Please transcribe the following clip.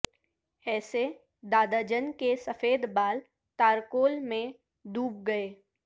ایسے دادا جن کے سفید بال تارکول میں ڈوب گئے